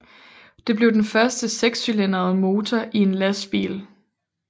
Det blev den første 6 cylindrede motor i en lastbil